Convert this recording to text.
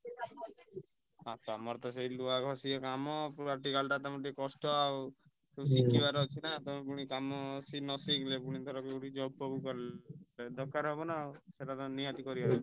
ଆଉ ତମର ତ ସେଇ ଲୁହା ଘଷିବା କାମ practical ଟା ତମର ଟିକେ କଷ୍ଟ ଆଉ ଶିଖିବାର ଅଛି ନା ତମେ ପୁଣି କାମ ନ ଶିଖିଲେ ପୁଣି ଧର ଯୋଉଠି job ଫବ କଲ ଦରକାର ହବ ନା ଆଉ ସେଇଟା ତ ନିହାତି କରିବା ଦରକାର।